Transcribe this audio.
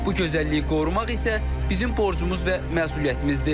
Bu gözəlliyi qorumaq isə bizim borcumuz və məsuliyyətimizdir.